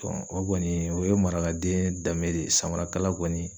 o kɔni o ye marakaden dame de ye samarakala kɔni